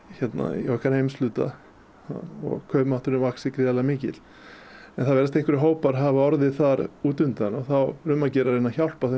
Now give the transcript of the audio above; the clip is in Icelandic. í okkar heimshluta og kaupmátturinn vaxið gríðarlega mikið en það virðast einhverjir hópar hafa orðið þar út undan og þá um að gera að reyna að hjálpa þeim